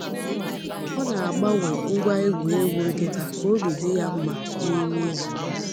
O na-agbanwe ngwa egwuregwu nkịta ka obi dị ya mma n’ime izu.